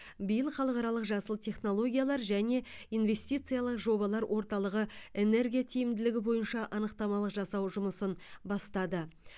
биыл халықаралық жасыл технологиялар және инвестициялық жобалар орталығы энергия тиімділігі бойынша анықтамалық жасау жұмысын бастады